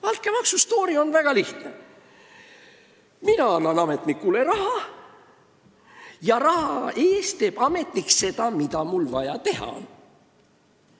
Altkäemaksu stoori on väga lihtne: mina annan ametnikule raha, mille eest teeb ametnik seda, mida mul vaja teha on.